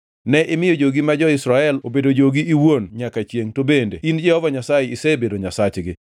Ne imiyo jogi ma jo-Israel obedo jogi iwuon nyaka chiengʼ to bende in Jehova Nyasaye isebedo Nyasachgi.